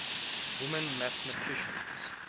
women mathematicians